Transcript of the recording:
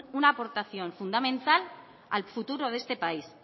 una aportación fundamental al futuro de este país